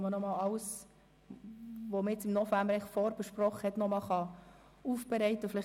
anlässlich derer alles, was man im November vorbesprochen wurde, noch einmal aufbereitet werden kann.